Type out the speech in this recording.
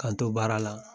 K'an to baara la